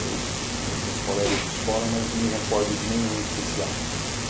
Eu tinha os meus colegas de escola, mas não me recordo de nenhum em especial.